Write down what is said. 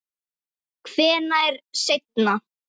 Hvenær seinna?